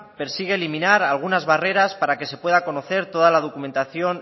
persigue eliminar algunas barreras para que se pueda conocer toda la documentación